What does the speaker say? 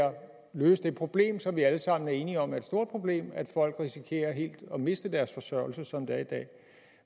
løse det problem som vi alle sammen er enige om er et stort problem at folk risikerer helt at miste deres forsørgelse som det er i dag